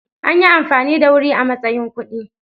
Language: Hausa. Anyi amfani da Wuri a matsayin kuɗi.